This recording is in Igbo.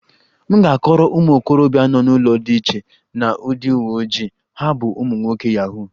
M ga-akọrọ ụmụ okorobịa nọ n'ụlọ dị iche na ndị uwe ojii, ha bụ ụmụ nwoke yahoo